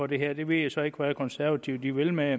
det her jeg ved så ikke hvad de konservative vil med